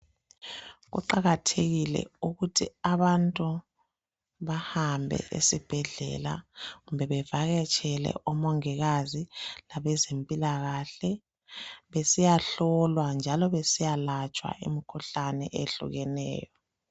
Kuqakathekile ukuthi abantu bahambe esibhedlela kumbe bevakatshele omongikazi labezempilakahle besiyahlolwa njalo besiyalatshwa imikhuhlane eyehlukeneyo.